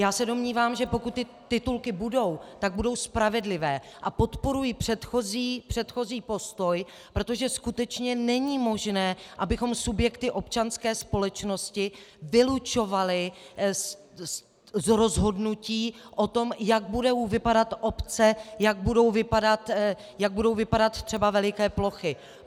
Já se domnívám, že pokud ty titulky budou, tak budou spravedlivé, a podporuji předchozí postoj, protože skutečně není možné, abychom subjekty občanské společnosti vylučovali z rozhodnutí o tom, jak budou vypadat obce, jak budou vypadat třeba veliké plochy.